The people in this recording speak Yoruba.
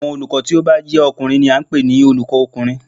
Àwọn olùkọ́ tí ó bá jé ọkùnrin ni a n pè ní Olùkó kùnrin